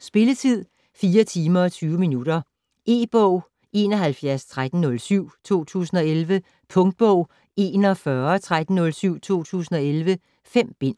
Spilletid: 4 timer, 20 minutter. E-bog 711307 2011. Punktbog 411307 2011. 5 bind.